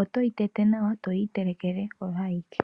oto yi tete nawa, eto yi itelekele oyo ayike.